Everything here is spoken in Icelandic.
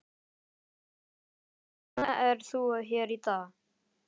Elín: Hvers vegna er þú hér í dag?